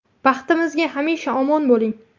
Baxtimizga hamisha omon bo‘ling!